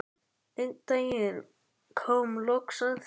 Einn daginn kom loks að því.